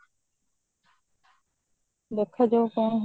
ଦେଖାଯାଉ କଣ ହଉଛି